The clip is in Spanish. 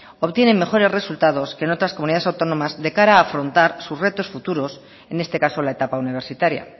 obtiene mejores resultados que en otras comunidades autónomas de cara a afrontar sus retos futuros en este caso la etapa universitaria